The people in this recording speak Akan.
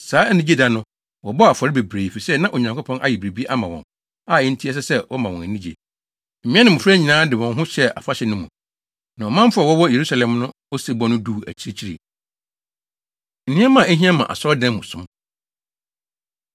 Saa anigye da no, wɔbɔɔ afɔre bebree, efisɛ na Onyankopɔn ayɛ biribi ama wɔn a enti ɛsɛ sɛ wɔma wɔn ani gye. Mmea ne mmofra nyinaa de wɔn ho hyɛɛ afahyɛ no mu, na ɔmanfo a wɔwɔ Yerusalem no osebɔ no duu akyirikyiri. Nneɛma A Ehia Ma Asɔredan Mu Som